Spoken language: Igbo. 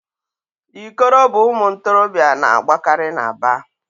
Ikoro bụ ụmụ ntorobịa na-agbakari n'Aba.